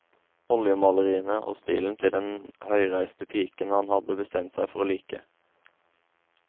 Oljemaleriene og stilen til den høyreiste piken han hadde bestemt seg for å like.